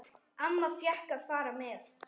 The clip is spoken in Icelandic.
Amma fékk að fara með.